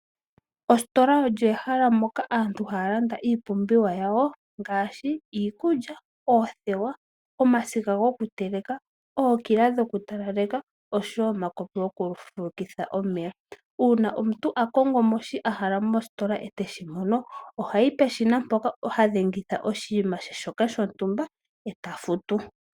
Ositola olyo ehala moka aantu haya landa iipumbiwa yawo ngaashi iikulya, oothewa, omasiga gokuteleka, ookila dhokutalaleka osho wo omakopi gokufulukitha omeya. Uuna omuntu a kongo mo shi a hala mositola e te shi mono ohayi peshina mpoka ha dhengitha oshinima she shoka shontumba e ta futu.